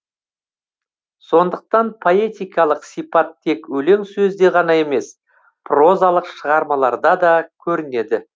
сондықтан поэтикалық сипат тек өлең сөзде ғана емес прозалық шығармаларда да көрінеді